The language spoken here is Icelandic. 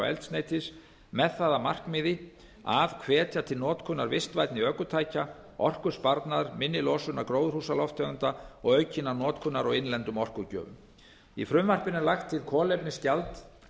eldsneytis með það að markmiði að hvetja til notkunar vistvænni ökutækja orkusparnaðar minni losunar gróðurhúsalofttegunda og aukinnar notkunar á innlendum orkugjöfum í frumvarpinu er lagt til kolefnisgjald